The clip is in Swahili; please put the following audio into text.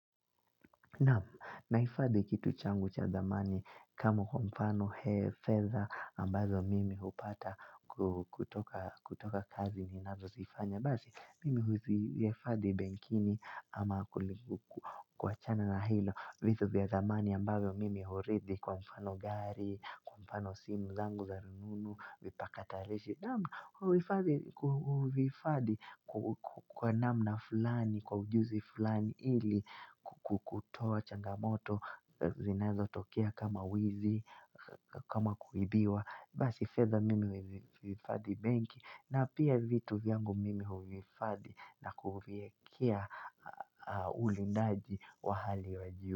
Nahifadhi kitu changu cha thamani kama kwa mfano fedha ambazo mimi hupata kutoka kazi ninazozifanya. Basi mimi huzihifadhi benkini ama kuachana na hilo, vitu vya thamani ambazo mimi huridhi kwa mfano gari, kwa mfano simu zangu za rununu, vipakatarishi, naam huhifadhi huvihifadhi kwa namna fulani, kwa ujuzi fulani ili kutoa changamoto zinazotokea kama wizi, kama kuibiwa. Basi fedha mimi huhifadhi benki na pia vitu vyangu mimi huvihifadhi na kuviekea ulindaji wa hali wa juu.